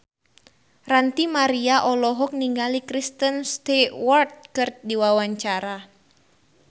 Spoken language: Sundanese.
Ranty Maria olohok ningali Kristen Stewart keur diwawancara